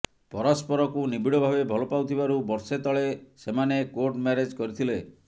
ପରସ୍ପରକୁ ନିବିଡଭାବେ ଭଲ ପାଉଥିବାରୁ ବର୍ଷେ ତଳେ ସେମାନେ କୋର୍ଟ ମ୍ୟାରେଜ୍ କରିଥିଲେ